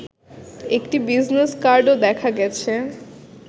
একটি বিজনেস কার্ডও দেখা গেছে